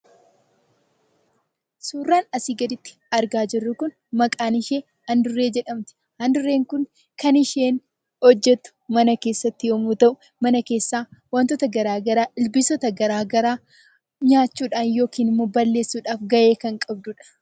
Suuraan asii gaditti argaa jirru kun maqaan ishee adurree jedhamti. Adurreen kun kan isheen hojjattu mana keessatti yommuu ta'u, wantoota garaagaraa , ilbiisota garaagaraa nyaachuudhaan yookiin balleessuudhaaf gahee kan qabdudha.